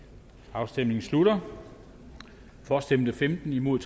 afstemningen slutter for stemte femten imod